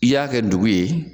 I y'a kɛ dugu ye.